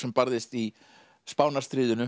barðist í